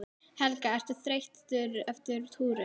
Helga: Ertu þreyttur eftir túrinn?